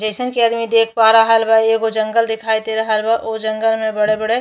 जइसन कि अदमी देख पा रहल बा एगो जंगल दिखाई दे रहल बा। ओ जंगल में बड़े-बड़े --